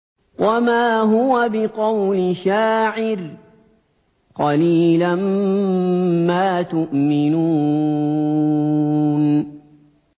وَمَا هُوَ بِقَوْلِ شَاعِرٍ ۚ قَلِيلًا مَّا تُؤْمِنُونَ